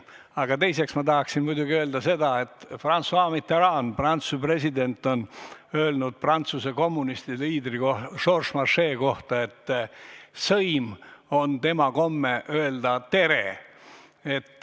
Aga teiseks ma tahaksin muidugi öelda seda, et François Mitterrand, Prantsuse president on öelnud Prantsuse kommunistide liidri Georges Marchais' kohta, et sõim on tema komme öelda tere.